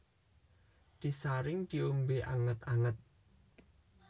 Disaring diombe anget anget